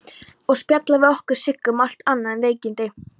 Og spjalla við okkur Siggu, um allt annað en veikindin.